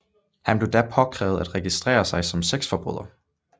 Han blev da påkrævet at registrere sig som sexforbryder